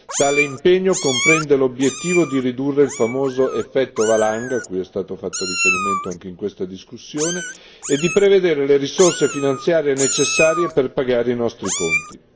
Tale impegno comprende l'obiettivo di ridurre il famoso effetto valanga, a cui è stato fatto riferimento anche in questa discussione, e di prevedere le risorse finanziarie necessarie per pagare i nostri conti.